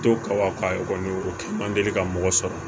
To ka ka o kɛ man deli ka mɔgɔ sɔrɔ